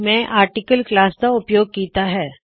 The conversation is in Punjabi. ਮੈ ਆਰਟਿਕਲ ਕਲਾਸ ਦਾ ਉਪਯੋਗ ਕੀੱਤਾ ਹੈ